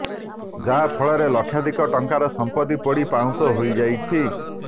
ଯାହା ଫଳରେ ଲକ୍ଷାଧିକ ଟଙ୍କାର ସମ୍ପତ୍ତି ପୋଡ଼ି ପାଉଁଶ ହୋଇଯାଇଛି